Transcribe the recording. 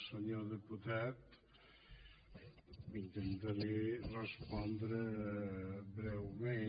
senyor diputat intentaré respon·dre breument